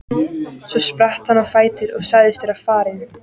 Svo spratt hann á fætur og sagðist vera farinn.